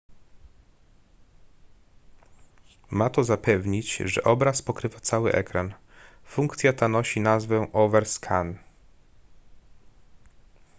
ma to zapewnić że obraz pokrywa cały ekran funkcja ta nosi nazwę overscan